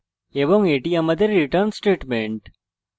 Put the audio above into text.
এবং এটি আমাদের return statement